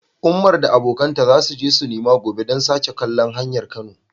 Ummi da abokanta za su je sinema gobe don sake kallon Hanyar Kano.